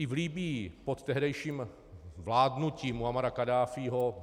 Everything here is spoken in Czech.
I v Libyi pod tehdejším vládnutím Muammara Kaddáfího...